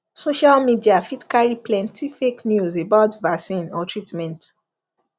social media fit carry plenty fake news about vaccine or treatment